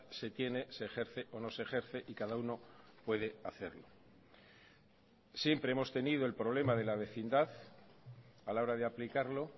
se tiene se ejerce o no se ejerce y cada uno puede hacerlo siempre hemos tenido el problema de la vecindad a la hora de aplicarlo